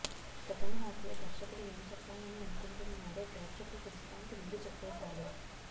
second half లో దర్శకుడు ఏం చెప్పాలని అనుకుంటున్నాడో ప్రేక్షకులకు విశ్రాంతి ముందు చెప్పేశాడు